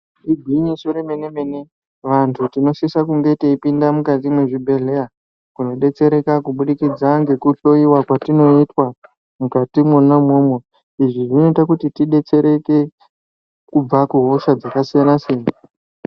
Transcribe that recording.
Igwinyiso remene-mene vantu tinosisa kunge teipinda mukati mwezvibhedhlera kunobetsereka kubudikidza ngekuhloiwa kwetinoitwa mukati mwona imwomwo. Izvi zvinoita kuti tibetsereke kubva kuhosha dzakasiyana-siyana.